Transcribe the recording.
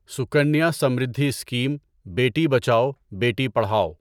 Sukanya Samriddhi scheme بیٹی بچاؤ بیٹی پڑھاؤ